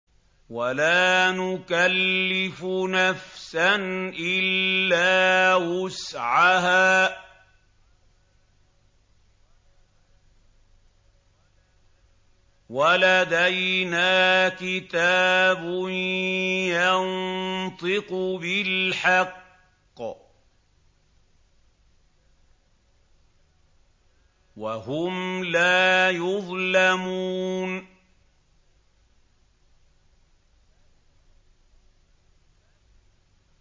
وَلَا نُكَلِّفُ نَفْسًا إِلَّا وُسْعَهَا ۖ وَلَدَيْنَا كِتَابٌ يَنطِقُ بِالْحَقِّ ۚ وَهُمْ لَا يُظْلَمُونَ